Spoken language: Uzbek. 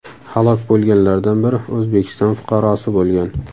Halok bo‘lganlardan biri O‘zbekiston fuqarosi bo‘lgan.